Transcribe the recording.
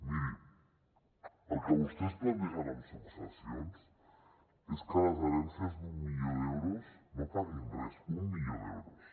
miri el que vostès plantegen amb successions és que les herències d’un milió d’euros no paguin res un milió d’euros